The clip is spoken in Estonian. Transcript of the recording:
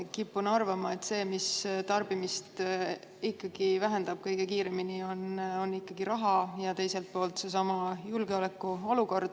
Kipun arvama, et see, mis tarbimist kõige kiiremini vähendab, on ikkagi raha ja teiselt poolt seesama julgeolekuolukord.